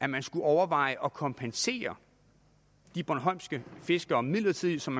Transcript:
man skulle overveje at kompensere de bornholmske fiskere midlertidigt som